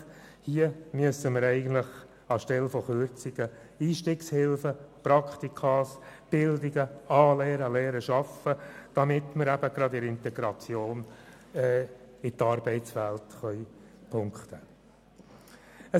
Hier müssen wir eigentlich anstelle von Kürzungen Einstiegshilfen, Praktika, Bildungen, Anlehren und Lehren schaffen, damit wir – gerade bei der Integration in die Arbeitswelt – punkten können.